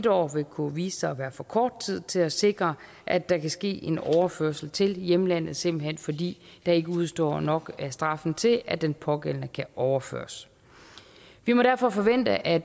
år vil kunne vise sig at være for kort tid til at sikre at der kan ske en overførsel til hjemlandet simpelt hen fordi der ikke udestår nok af straffen til at den pågældende kan overføres vi må derfor forvente at